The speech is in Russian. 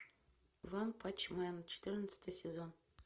ванпанчмен четырнадцатый сезон